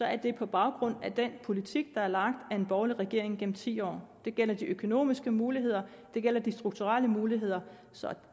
er det på baggrund af den politik der er lagt af en borgerlig regering gennem ti år det gælder de økonomiske muligheder og det gælder de strukturelle muligheder så